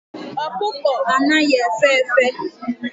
Okuko anaghi efe efe